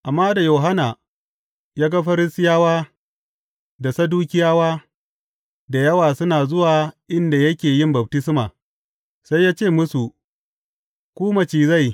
Amma da Yohanna ya ga Farisiyawa da Sadukiyawa da yawa suna zuwa inda yake yin baftisma, sai ya ce musu, Ku macizai!